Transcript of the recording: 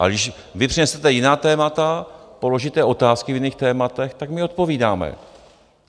Ale když vy přinesete jiná témata, položíte otázky v jiných tématech, tak my odpovídáme.